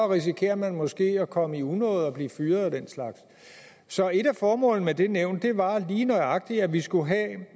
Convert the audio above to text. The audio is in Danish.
risikerer man måske at komme i unåde og blive fyret og den slags så et af formålene med det nævn var lige nøjagtig at vi skulle have